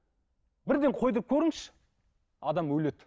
бірден қойдыртып көріңізші адам өледі